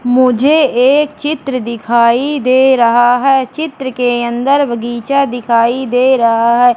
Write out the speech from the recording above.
मुझे एक चित्र दिखाई दे रहा है। चित्र के अंदर बगीचा दिखाई दे रहा है।